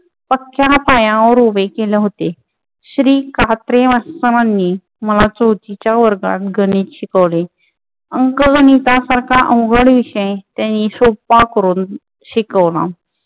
आमच्या पायावर उभे केले होते. श्री कात्रे मास्टर नी मला चौथीच्या वर्गात गणित शिकवले. अंकगणितासारखा अवघड विषय त्यांनी सोप्पा करून शिकवला.